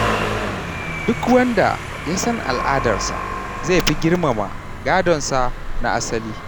Duk wanda ya san al’adarsa, zai fi girmama gadonsa na asali.